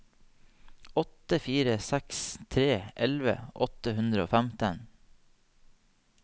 åtte fire seks tre elleve åtte hundre og femten